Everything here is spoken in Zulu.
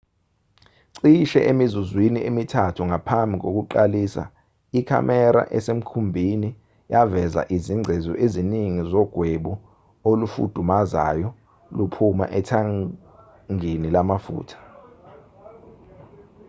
cishe emizuzwini emithathu ngaphambi kokuqalisa ikhamera esemkhumbini yaveza izingcezu eziningi zogwebu olufudumazayo luphuma ethangini lamafutha